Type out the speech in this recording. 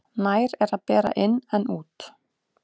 Nær er að bera inn en út.